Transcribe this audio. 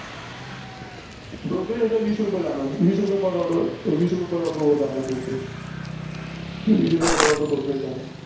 brokerage फक्त वीस रुपये जाणार. वीस रुपये Per order वर जाणार brokerage वीस रुपये per order brokerage जाणार.